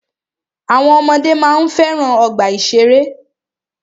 Àwọn ọmọdé máa ń fẹ́ràn ọgbà ìṣẹ̀rẹ́.